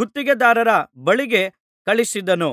ಗುತ್ತಿಗೆದಾರರ ಬಳಿಗೆ ಕಳುಹಿಸಿದನು